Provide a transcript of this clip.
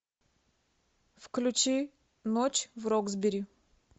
включи ночь в роксбери